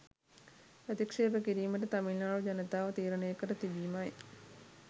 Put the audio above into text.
ප්‍රතික්ෂේප කිරීමට තමිල්නාඩු ජනතාව තීරණය කර තිබිමයි